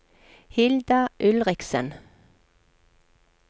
Hilda Ulriksen